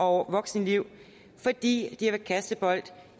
voksenliv fordi de har været kastebold